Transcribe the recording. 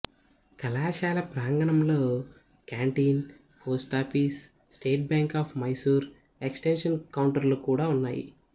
కళాశాల ప్రాంగణంలో canteen post office State Bank of Mysore extension కౌంటరులు కూడా ఉన్నాయి